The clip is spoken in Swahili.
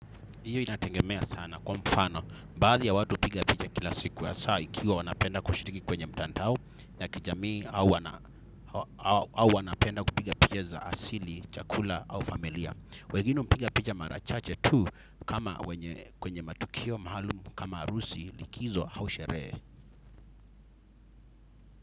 Hiyo inatengemea sana kwa mfano, baadhi ya watu upiga pija kila siku ya saa ikiwa wanapenda kushiriki kwenye mtandao ya kijamii au wanapenda kupiga picha za asili, chakula au familia. Wegine mpiga picha marachache tu kwenye matukio maalumu kama arusi likizo hau sherehe.